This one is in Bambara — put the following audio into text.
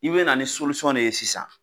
I bɛ na ni de ye sisan.